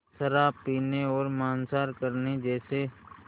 शराब पीने और मांसाहार करने जैसे